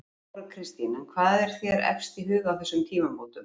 Þóra Kristín: En hvað er þér efst í huga á þessum tímamótum?